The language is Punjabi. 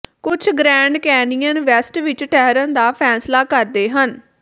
ਕੁਝ ਗ੍ਰੈਂਡ ਕੈਨਿਯਨ ਵੈਸਟ ਵਿਚ ਠਹਿਰਨ ਦਾ ਫੈਸਲਾ ਕਰਦੇ ਹਨ